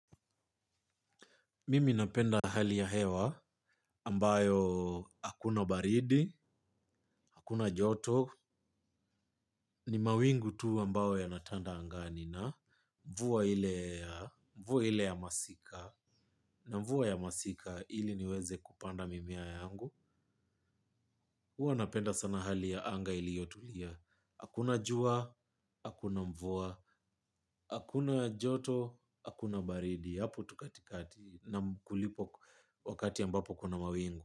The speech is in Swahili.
Mimi napenda hali ya hewa ambayo hakuna baridi hakuna joto, ni mawingu tu ambao yanatanda angani na jua ile mvua ile ya masika, na mvua ya masika ili niweze kupanda mimea yangu, huwa napenda sana hali ya anga iliyotulia, hakuna jua, hakuna mvua, hakuna joto, hakuna baridi, hapo tu katikati na kulipo wakati ambapo kuna mawingu.